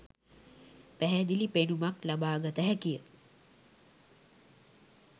පැහැදිලි පෙනුමක් ලබාගත හැකිය